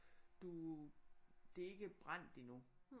Du det er ikke brændt endnu